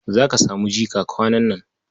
Za ka samu jika kwanan nan.